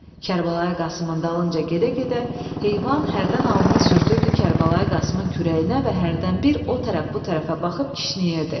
Kərbəlayı Qasımın dalınca gedə-gedə heyvan hərdən alnını sürtürdü Kərbəlayı Qasımın kürəyinə və hərdən bir o tərəf bu tərəfə baxıb kişniyirdi.